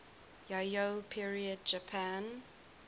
yayoi period japan